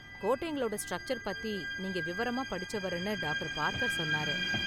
கோட்டைங்களோட structure பத்தி நீங்க விவரமா படிச்சவருன்னு டாக்டர் பார்க்கர் சொன்னாரு.